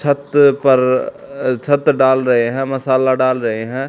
छत पर छत डाल रहे हैं मसाला डाल रहे हैं।